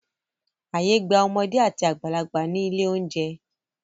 Ààyè gba ọmọdé àti àgbàlagbà ní ilé-oúnjẹ.